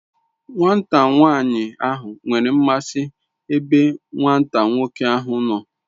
Nwata nwani ahu nwere nmasi ebe Nwata nwoke ahu no